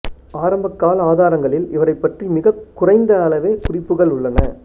ஆரம்பகால ஆதாரங்களில் இவரைப் பற்றி மிகக் குறைந்த அளவே குறிப்புகள் உள்ளன